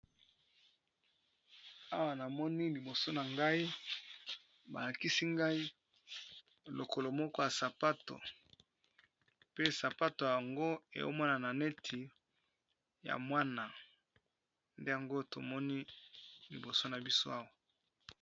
Awa namoni liboso na ngai balakisi ngai lokolo moko ya sapato pe sapato yango emonana neti ya mwana nde yango tomoni liboso na biso awa